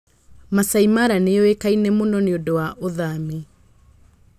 Maasai Mara nĩ yũĩkaine mũno nĩ ũndũ wa ũthami.